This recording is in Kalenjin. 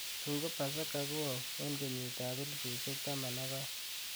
tun ko pasaka ko au en kenyit ap elipusyek taman ak oeng